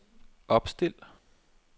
opstil